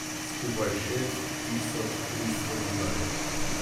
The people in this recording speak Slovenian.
Skupaj šest tisoč tristo dinarjev!